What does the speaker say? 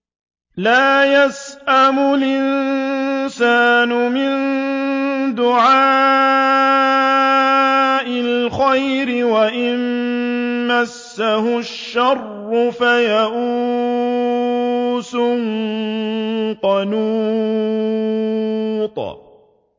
لَّا يَسْأَمُ الْإِنسَانُ مِن دُعَاءِ الْخَيْرِ وَإِن مَّسَّهُ الشَّرُّ فَيَئُوسٌ قَنُوطٌ